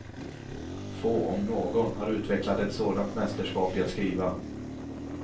Få, om någon, har utvecklat ett sådant mästerskap i att skriva.